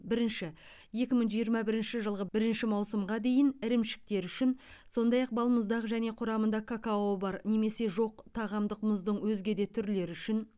бірінші екі мың жиырма бірінші жылғы бірінші маусымға дейін ірімшіктер үшін сондай ақ балмұздақ және құрамында какао бар немесе жоқ тағамдық мұздың өзге де түрлері үшін